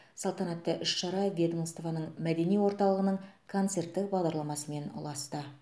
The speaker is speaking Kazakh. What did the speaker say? салтанатты іс шара ведомствоның мәдени орталығының концерттік бағдарламасымен ұласты